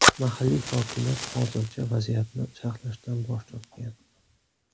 Mahalliy hokimiyat hozircha vaziyatni sharhlashdan bosh tortgan.